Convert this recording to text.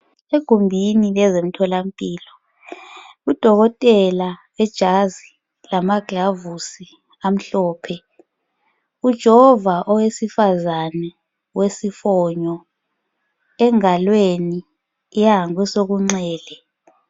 Egumbini lezemtholampilo udokotela ijazi lamaglavusi amhlophe ujova owesifazane wesifonyo engalweni yengasokunxele